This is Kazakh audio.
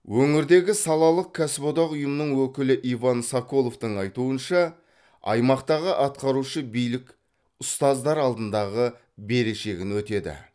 өңірдегі салалық кәсіподақ ұйымының өкілі иван соколовтың айтуынша аймақтағы атқарушы билік ұстаздар алдындағы берешегін өтеді